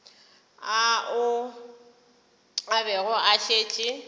ao a bego a šetše